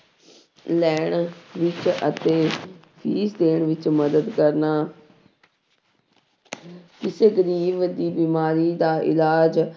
ਲੈਣ ਵਿੱਚ ਅਤੇ ਵੀ ਦੇਣ ਵਿੱਚ ਮਦਦ ਕਰਨਾ ਕਿਸੇ ਗ਼ਰੀਬ ਦੀ ਬਿਮਾਰੀ ਦਾ ਇਲਾਜ